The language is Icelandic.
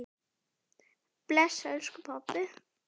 Bless, elsku pabbi.